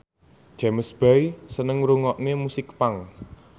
James Bay seneng ngrungokne musik punk